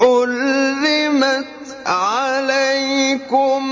حُرِّمَتْ عَلَيْكُمْ